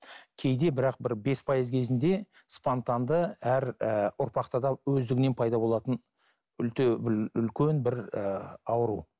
кейде бірақ бір бес пайыз кезінде спонтанды әр і ұрпақта да өздігінен пайда болатын бір үлкен бір ііі ауру